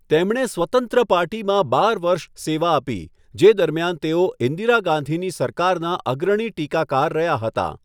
તેમણે 'સ્વતંત્ર પાર્ટી' માં બાર વર્ષ સેવા આપી, જે દરમિયાન તેઓ ઈન્દિરા ગાંધીની સરકારનાં અગ્રણી ટીકાકાર રહ્યાં હતાં.